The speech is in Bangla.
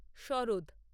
সরোদ